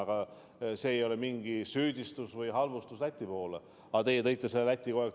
Aga see ei ole süüdistus või halvustus Läti suunas, teie toote selle Läti kogu aeg mängu.